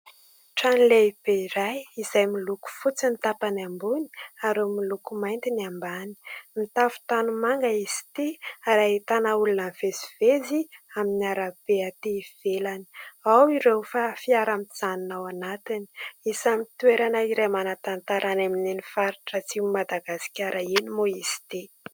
Trano lehibe iray izay miloko fotsy ny tapany ambony ary miloko mainty ny ambany. Mitafo tanimanga izy ity ary ahitana olona mivezivezy amin'ny arabe ety ivelany ; ao ireo fiara mijanona ao anatiny. Isan'ny toerana iray manan-tantara any amin'iny faritra atsimon'i Madagasikara iny moa izy ity.